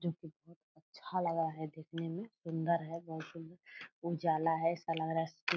जो की बहुत अच्छा लगा है देखेने में सुन्दर है बोहोत सुन्दर उजाला है ऐसे लग रहा है --